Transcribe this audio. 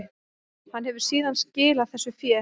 Hann hefur síðan skilað þessu fé